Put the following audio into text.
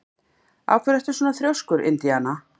Af hverju ertu svona þrjóskur, Indiana?